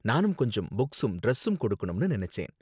நானும் கொஞ்சம் புக்ஸும் டிரஸும் கொடுக்கணும்னு நினைச்சேன்.